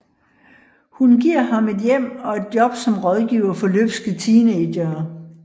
Hun giver ham et hjem og et job som rådgiver for løbske teenagere